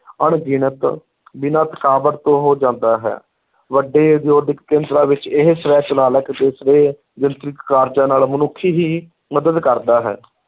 ਅਣਗਿਣਤ ਬਿਨਾਂ ਥਕਾਵਟ ਤੋਂ ਹੋ ਜਾਂਦਾ ਹੈ, ਵੱਡੇ ਉਦਯੋਗਿਕ ਕੇਂਦਰਾਂ ਵਿੱਚ ਇਹ ਸਵੈੈ ਚਾਲਕ ਅਤੇ ਸਵੈ ਕਾਰਜਾਂ ਨਾਲ ਮਨੁੱਖ ਹੀ ਮਦਦ ਕਰਦਾ ਹੈ